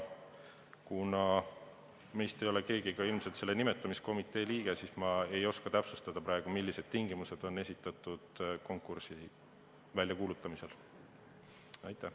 Kuna meist ei ole keegi selle nimetamiskomitee liige, siis ma ei oska täpsustada, millised tingimused on konkursi väljakuulutamisel esitatud.